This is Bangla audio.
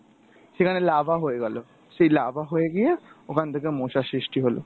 সেখানে larva হয়ে গেলো, সেই larva হয়ে গিয়ে ওখান থেকে মশার সৃষ্টি হলো।